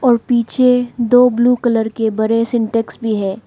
और पीछे दो ब्लू कलर के बड़े सिंटेक्स भी है।